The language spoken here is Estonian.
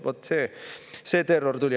Vot see terror tuli!